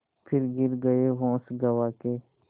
फिर गिर गये होश गँवा के